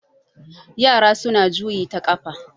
yara suna juyi ta kafa